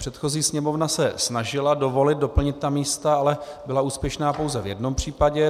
Předchozí Sněmovna se snažila dovolit, doplnit ta místa, ale byla úspěšná pouze v jednom případě.